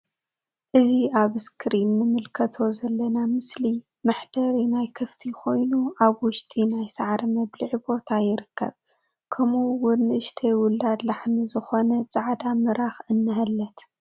እዚ ኣብ እስክሪን እንምልከቶ ዘለና ምስሊ መሕደሪ ናይ ከፍቲ ኮይኑ ኣብ ውሽጢ ናይ ሳዕሪ መብልዒ ቦታ ይርከብ ከምኡ እውን ንእሽተይ ውላድ ላሕሚ ዝኮነት ጻዕዳ ምራክ እንሀለት።